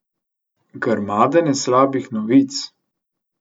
Grmadenje slabih novic.